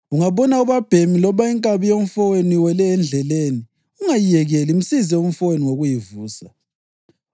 Ungabona ubabhemi loba inkabi yomfowenu iwele endleleni, ungayiyekeli. Msize umfowenu ngokuyivusa.